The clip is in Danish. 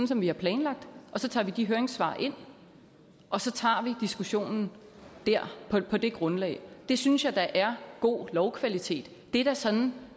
som vi har planlagt og så tager vi de høringssvar ind og så tager vi diskussionen på det grundlag det synes jeg da er god lovkvalitet det er da sådan